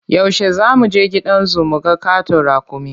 Yaushe za mu je gidan zu mu ga ƙaton raƙumi?